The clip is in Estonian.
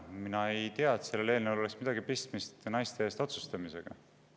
Mina ei tea, et sellel eelnõul oleks midagi pistmist naiste eest otsustamisega.